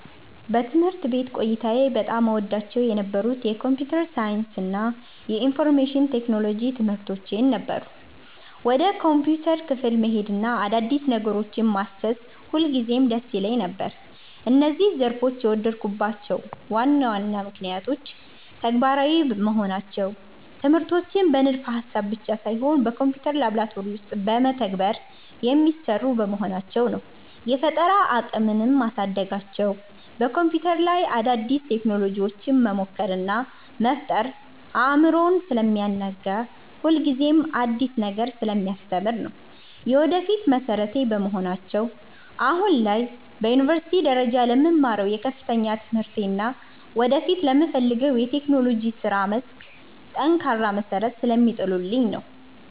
በትምህርት ቤት ቆይታዬ በጣም እወዳቸው የነበሩት የኮምፒውተር ሳይንስ እና የኢንፎርሜሽን ቴክኖሎጂ (IT) ትምህርቶች ነበሩ። ወደ ኮምፒውተር ክፍል መሄድና አዳዲስ ነገሮችን ማሰስ ሁልጊዜም ደስ ይለኝ ነበር። እነዚህን ዘርፎች የወደድኩባቸው ዋና ዋና ምክንያቶች፦ ተግባራዊ መሆናቸው፦ ትምህርቶቹ በንድፈ-ሐሳብ ብቻ ሳይሆን በኮምፒውተር ላብራቶሪ ውስጥ በተግባር (Practical) የሚሰሩ በመሆናቸው ነው። የፈጠራ አቅምን ማሳደጋቸው፦ በኮምፒውተር ላይ አዳዲስ ቴክኖሎጂዎችን መሞከር እና መፍጠር አእምሮን ስለሚያናጋና ሁልጊዜም አዲስ ነገር ስለሚያስተምር ነው። የወደፊት መሠረቴ በመሆናቸው፦ አሁን ላይ በዩኒቨርሲቲ ደረጃ ለምማረው የከፍተኛ ትምህርቴ እና ወደፊት ለምፈልገው የቴክኖሎጂ የሥራ መስክ ጠንካራ መሠረት ስለሚጥሉልኝ ነው።